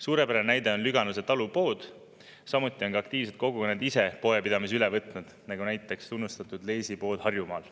Suurepärane näide on Lüganuse talupood, samuti on ka aktiivsed kogukonnad ise poepidamise üle võtnud, nagu näiteks tunnustatud Leesi pood Harjumaal.